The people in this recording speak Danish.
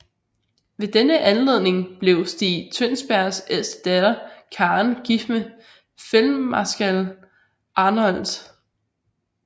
Ved denne anledning blev Stig Tønsbergs ældste datter Karen gift med feltmarskal Arnoldt